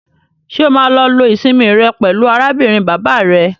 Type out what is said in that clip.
Ṣé o máa lọ lo ìsinmi rẹ pẹlú arábìnrin bàbá rẹ?